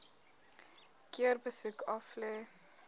keer besoek aflê